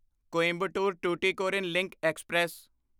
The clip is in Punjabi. Coimbatore Tuticorin link express